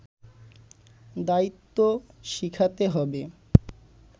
দায়িত্বও শিখাতে হবে”